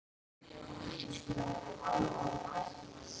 Þín Hrefna.